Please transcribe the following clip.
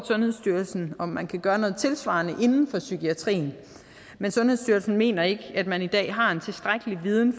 sundhedsstyrelsen om man kan gøre noget tilsvarende inden for psykiatrien men sundhedsstyrelsen mener ikke at man i dag har tilstrækkelig med viden